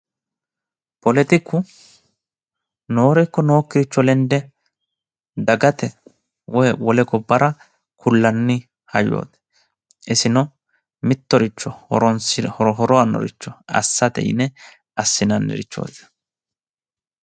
poletiku noore ikko nookkiricho lende dagate woyi wole gobbara kullanni hayyooti isino mittoricho horo aannoricho assate yine assinannirichooti.